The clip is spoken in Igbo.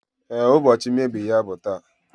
Ee, ụbọchị mmebi ya bụ taa